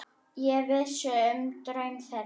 Ég vissi um draum þeirra.